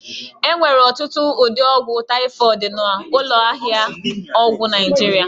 E nwere ọtụtụ ụdị ọgwụ taịfọdụ n'ụlọ ahịa ọgwụ Naịjirịa